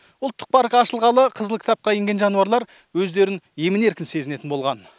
ұлттық парк ашылғалы қызыл кітапқа енген жануарлар өздерін емін еркін сезінетін болған